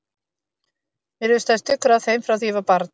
Mér hefur staðið stuggur af þeim frá því ég var barn.